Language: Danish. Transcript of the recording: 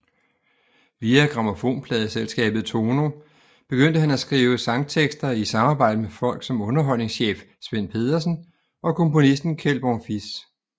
Via grammofonpladeselskabet Tono begyndte han at skrive sangtekster i samarbejde med folk som underholdningschef Svend Pedersen og komponisten Kjeld Bonfils